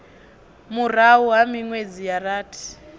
murahu ha minwedzi ya rathi